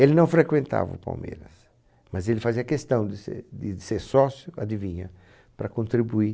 Ele não frequentava o Palmeiras, mas ele fazia questão de ser de ser sócio, adivinha, para contribuir.